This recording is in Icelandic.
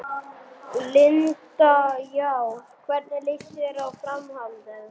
Linda: Já, hvernig lýst þér á framhaldið?